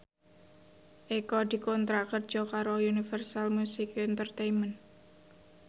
Eko dikontrak kerja karo Universal Music Entertainment